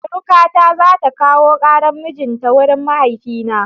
Surukata za ta kawo ƙaran mijin ta wurin mahaifina.